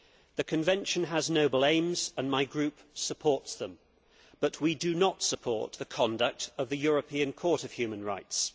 The Convention has noble aims and my group supports them, but we do not support the conduct of the European Court of Human Rights.